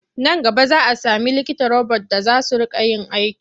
Nan gaba za sami likita robot za su riƙa yin aiki.